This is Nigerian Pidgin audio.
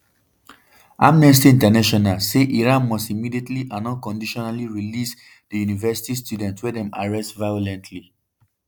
amnesty international say iran “must immediately and unconditionally release di university student wey dem arrest violently”.